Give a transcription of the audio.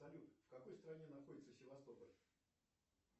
салют в какой стране находится севастополь